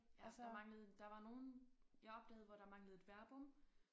Ja der manglede der var nogle jeg opdagede hvor der manglede et verbum